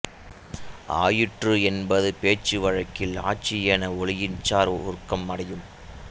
ஆயிற்று என்பது பேச்சுவழக்கில் ஆச்சு என ஒலியியல்சார் குறுக்கம் அடையும்